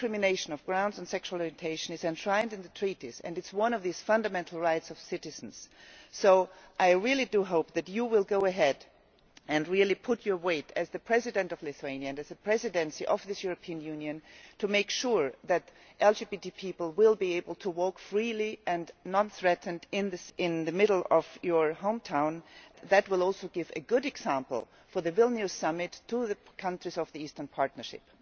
Non discrimination on grounds of sexual orientation is enshrined in the Treaties and it is one of the fundamental rights of citizens, so I really do hope that you will go ahead and really put pressure as the President of Lithuania, as the Presidency of this European Union, to make sure that LGBT people will be able to walk freely and unthreatened in the middle of your home town. That will also set a good example for the Vilnius Summit to the countries of the Eastern Partnership.